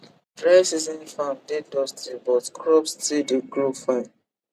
dry season farm dey dusty but crops still dey grow fine